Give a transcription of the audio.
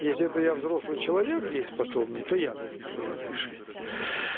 если это я взрослый человек дееспособный то я должен принять решение